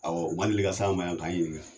Awɔ u deli ka s'an ma yan k'an ɲininka